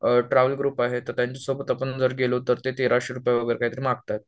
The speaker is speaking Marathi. ट्रॅवल ग्रुप आहे तर त्यांच्यासोबत आपण जर गेलो तर तेराशे रुपये वगैरे काहीतरी मागतायत